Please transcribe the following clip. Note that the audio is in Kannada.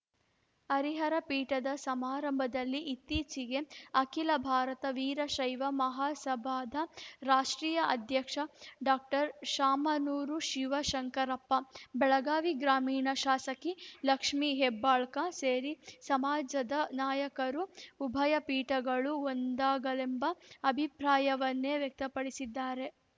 ಹರಿಹರ ಪೀಠದ ಸಮಾರಂಭದಲ್ಲಿ ಇತ್ತೀಚೆಗೆ ಅಖಿತ ಭಾರತ ವೀರಶೈವ ಮಹಾಸಭಾದ ರಾಷ್ಟ್ರೀಯ ಅಧ್ಯಕ್ಷ ಡಾಕ್ಟರ್ ಶಾಮನೂರು ಶಿವಶಂಕರಪ್ಪ ಬೆಳಗಾವಿ ಗ್ರಾಮೀಣ ಶಾಸಕಿ ಲಕ್ಷ್ಮೀ ಹೆಬ್ಬಾಳ್ಕ ಸೇರಿ ಸಮಾಜದ ನಾಯಕರು ಉಭಯ ಪೀಠಗಳು ಒಂದಾಗಲೆಂಬ ಅಭಿಪ್ರಾಯವನ್ನೇ ವ್ಯಕ್ತಪಡಿಸಿದ್ದಾರೆ